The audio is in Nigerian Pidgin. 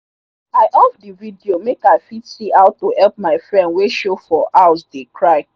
i off the video make i fit see how to help my friend wey show for house dey cry.